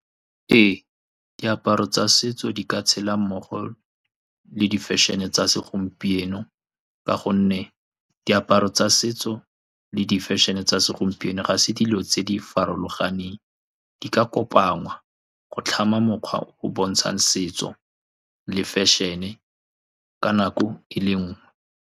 Ee, diaparo tsa setso di ka tshela mmogo le di-fashion-e tsa segompieno, ka gonne diaparo tsa setso le di-fashion-e tsa segompieno ga se dilo tse di farologaneng. Di ka kopangwa go tlhama mokgwa o o bontshang setso le fashion-e ka nako e le nngwe.